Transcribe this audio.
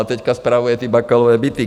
A teď spravuje ty Bakalovy byty.